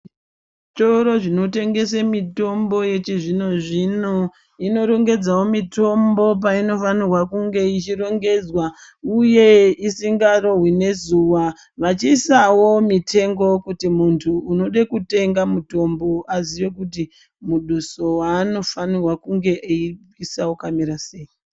Zvitoro zvinotengese mitombo yechizvino zvino inorongedzawo mitombo painofanirwa kunge ichirongedzwa uye isangarohwi nezuwa vachiisawo mitengo kuti muntu unode kutenga mutombo aziye kuti muduso waanofanirwa kunge eibvisa wakamirasei.